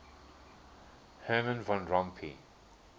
herman van rompuy